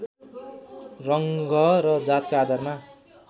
रङ्ग र जातका आधारमा